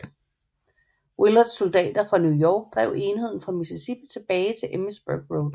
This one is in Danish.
Willards soldater fra New York drev enheden fra Mississippi tilbage til Emmitsburg Road